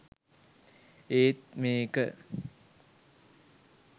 ඒත් මේක